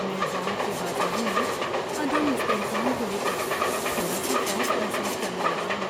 میں بانڈ کے بازاروں میں عدم استحکام کو لے کر تھوڑا سا خوف محسوس کرنے لگا ہوں۔